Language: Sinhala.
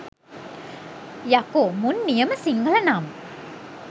යකෝ මුන් නියම සිංහල නම්